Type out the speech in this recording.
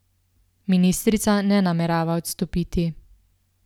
Ministrica ne namerava odstopiti.